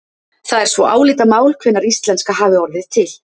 það er svo álitamál hvenær íslenska hafi orðið til